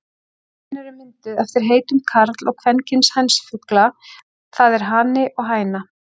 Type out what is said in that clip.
Orðin eru mynduð eftir heitum karl- og kvenkyns hænsfugla, það er hani og hæna.